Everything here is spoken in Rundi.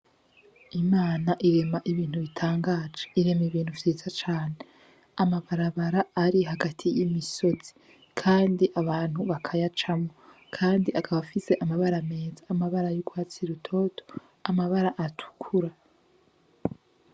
Imana irema ibintu bitangaje, irema ibintu vyiza cane, amabarabara ari hagati y'imisozi kandi abantu bakayacamwo, kandi akaba afise amabara meza, amabara y'urwatsi rutoto, amabara atukura.